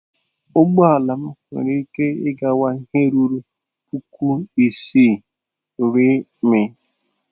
Ụgbọ ala m nwere ike ịkwaga ihe ruru puku ise R/m.